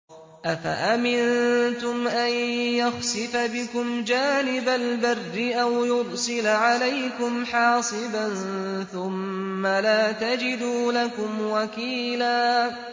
أَفَأَمِنتُمْ أَن يَخْسِفَ بِكُمْ جَانِبَ الْبَرِّ أَوْ يُرْسِلَ عَلَيْكُمْ حَاصِبًا ثُمَّ لَا تَجِدُوا لَكُمْ وَكِيلًا